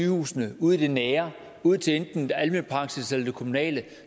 sygehusene ud i det nære ud til enten almen praksis eller til det kommunale